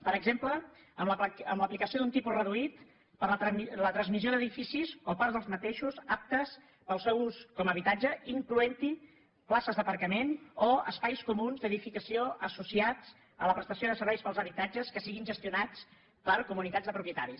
per exemple amb l’aplicació d’un tipus reduït per la transmissió d’edificis o parts d’aquests aptes per al seu ús com a habitatge incloent·hi places d’aparcament o espais comuns d’edificació associats a la prestació de serveis per als habitatges que siguin gestionats per comunitats de propietaris